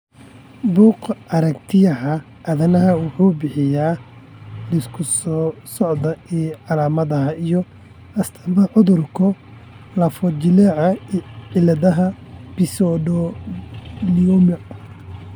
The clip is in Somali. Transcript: Buggga Aaragtiyaha Aanadaha wuxuu bixiyaa liiska soo socda ee calaamadaha iyo astaamaha cudurka lafo-jileeca ee cilada pseudoglioma.